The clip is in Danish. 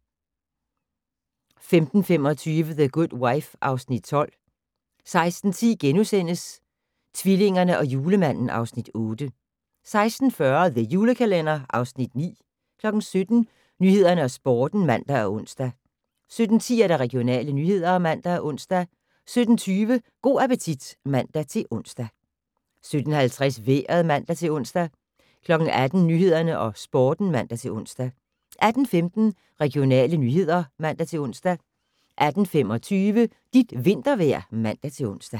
15:25: The Good Wife (Afs. 12) 16:10: Tvillingerne og Julemanden (Afs. 8)* 16:40: The Julekalender (Afs. 9) 17:00: Nyhederne og Sporten (man og ons) 17:10: Regionale nyheder (man og ons) 17:20: Go' appetit (man-ons) 17:50: Vejret (man-ons) 18:00: Nyhederne og Sporten (man-ons) 18:15: Regionale nyheder (man-ons) 18:25: Dit vintervejr (man-ons)